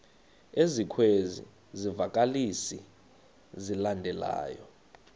ezikwezi zivakalisi zilandelayo